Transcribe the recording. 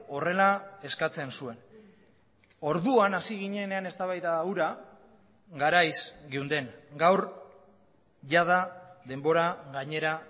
horrela eskatzen zuen orduan hasi ginenean eztabaida hura garaiz geunden gaur jada denbora gainera